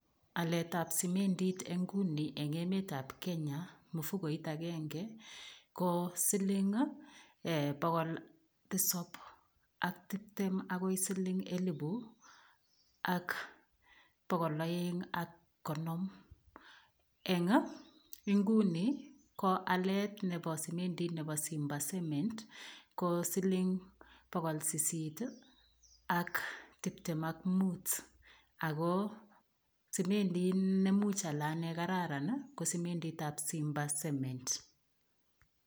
Alet ap simendit inguni en emetap Kenya, mfukoit agege ko siling pokol tisap ak tiptem akoi siling elipu ak pokol aeng' ak konom. Eng' inguni ko alet nepo simendit nepo simba cement ko siling pokol sisit ak tiptem ak mut. Ako simendiit nemuch ale ane kararan ko simendiit ap simba cement.